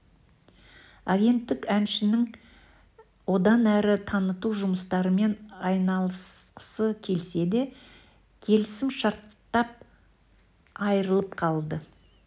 агенттік әншіні одан әрі таныту жұмыстарымен айналысқысы келсе де келісімшарттан айырылып қалды